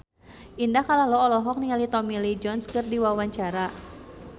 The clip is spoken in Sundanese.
Indah Kalalo olohok ningali Tommy Lee Jones keur diwawancara